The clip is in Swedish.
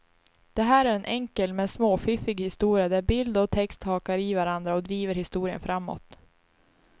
Det här är en enkel men småfiffig historia där bild och text hakar i varandra och driver historien framåt.